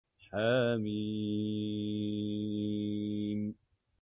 حم